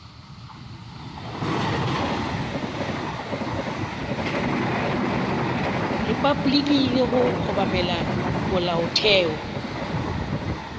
repabliki le go obamela molaotheo